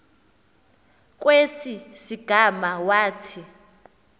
kwesi sigama wathi